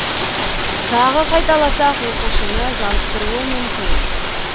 тағы қайталасақ оқушыны жалықтыруы мүмкін